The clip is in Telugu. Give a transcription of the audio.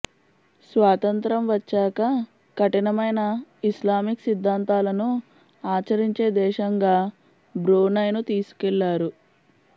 స్వాతంత్య్రం వచ్చాక కఠినమైన ఇస్లామిక్ సిద్ధాంతాలను ఆచరించే దేశంగా బ్రూనైను తీసుకెళ్లారు